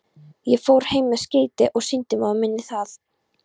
Ég fór heim með skeytið og sýndi móður minni það.